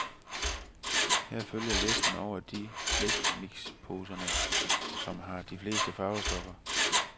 Her følger listen over de af slikmixposerne, som har de fleste farvestoffer.